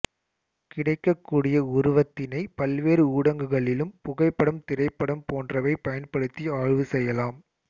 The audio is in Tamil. கிடைக்கக்கூடிய உருவத்தினை பல்வேறு ஊடகங்களிலும் புகைப்படம் திரைப்படம் போன்றவை பயன்படுத்தி ஆய்வு செய்யலாம்